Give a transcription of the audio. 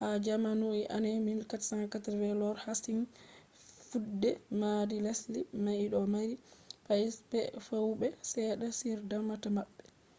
ha jamanu 1480s,lord hasting fudde madi lesde mai do mari zaman lafiya woube sedda on damata mabbe